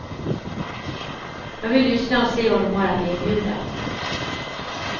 Jag vill lyssna och se vad de har att erbjuda.